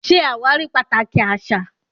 Ṣé àwárí pàtàkì àṣà